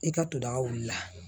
I ka to daga wuli la